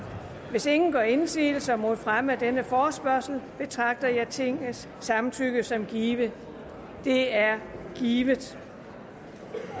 hvis ingen gør indsigelse mod fremme af denne forespørgsel betragter jeg tingets samtykke som givet det er givet